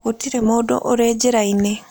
Gũtirĩ mũndũ ũrĩ njĩra-inĩ.